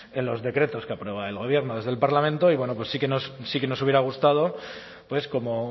en los decretos que aprueba el gobierno desde el parlamento y bueno pues sí que nos hubiera gustado pues como